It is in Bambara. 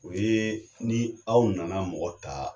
U ye ni aw nana mɔgɔ taa